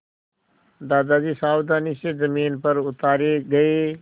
दादाजी सावधानी से ज़मीन पर उतारे गए